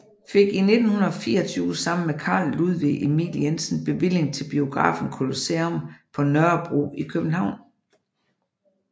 Fik i 1924 sammen med Carl Ludvig Emil Jensen bevilling til biografen Colosseum på Nørrebro i København